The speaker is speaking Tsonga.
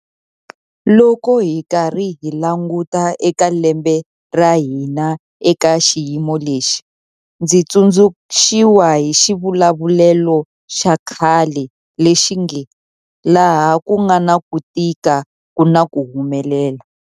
Loko hi karhi hi languta eka lembe ra hina eka xiyimo lexi, ndzi tsundzu xiwa hi xivulavulelo xa khale lexi nge 'laha ku nga na ku tika ku na ku humelela'.